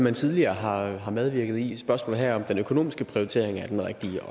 man tidligere har har medvirket i spørgsmålet er her om den økonomiske prioritering er den rigtige